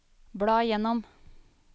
bla gjennom